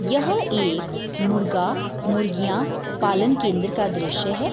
यह एक मुर्गा-मुर्गियां पालन केंद्र का दृश्य है।